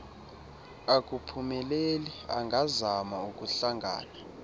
akuphumeleli angazama ukuhlangana